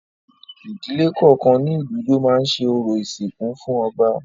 Ìdílé kọ̀ọ̀kan ní ìlú ló máa lọ ṣẹ orò ìsìnkú fún ọba